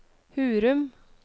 Hurum